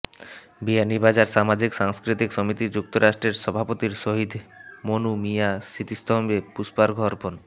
বিয়ানীবাজার সামাজিক সাংস্কৃতিক সমিতি যুক্তরাষ্ট্রের সভাপতির শহীদ মনু মিয়া স্মৃতিস্তম্বে পূষ্পার্ঘ অর্পন